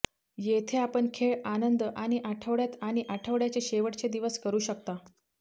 येथे आपण खेळ आनंद आणि आठवड्यात आणि आठवड्याचे शेवटचे दिवस करू शकता